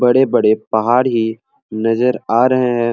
बड़े-बड़े पहाड़ ही नजर आ रहे हैं।